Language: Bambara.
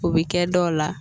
O bɛ kɛ dɔw la